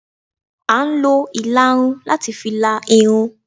À n lo illarún latí fí lá Irún